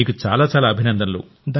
మీకు చాలా చాలా అభినందనలు